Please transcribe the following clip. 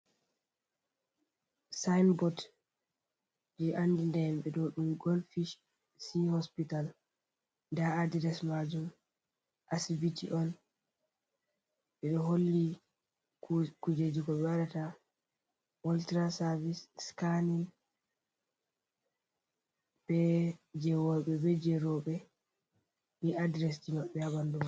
Sinbot je andi ta himbe do dum golfich sea-hospital da adres majum asibiti on bedo holli kujeji ko ɓe wadata oltra service scanin be je worbe be je robe ni adresdi mabbe ha bandu.